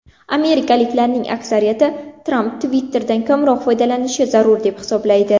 Amerikaliklarning aksariyati Tramp Twitter’dan kamroq foydalanishi zarur deb hisoblaydi.